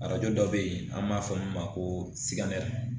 Arajo dɔ bɛ yen an b'a fɔ min ma ko